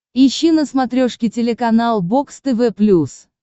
ищи на смотрешке телеканал бокс тв плюс